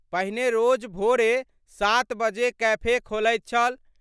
पहिने रोज भोरे 7 बजे कैफे खोलैत छल।